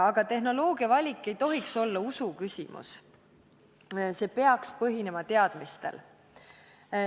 Aga tehnoloogia valik ei tohiks olla usuküsimus, see peaks põhinema teadmistel.